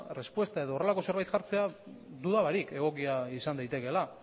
respuesta edo horrelako zerbait jartzea duda barik egokia izan daitekeela